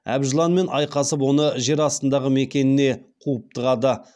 әбжыланмен айқасып оны жер астындағы мекеніне қуып тығады